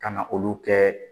Ka na olu kɛ